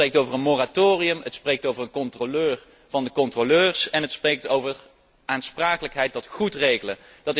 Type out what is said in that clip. Zij spreekt over een moratorium, zij spreekt over een controleur van de controleurs en zij spreekt over aansprakelijkheid tot goed regelen.